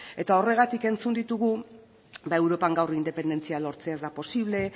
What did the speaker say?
eta horregatik entzun ditugu ba europan gaur independentzia lortzea ez da posible